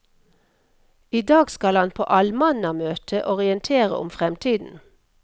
I dag skal han på allmannamøte orientere om fremtiden.